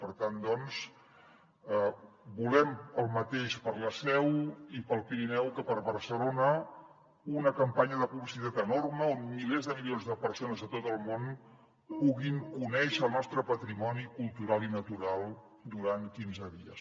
per tant doncs volem el mateix per a la seu i per al pirineu que per a barcelona una campanya de publicitat enorme on milers de milions de persones a tot el món puguin conèixer el nostre patrimoni cultural i natural durant quinze dies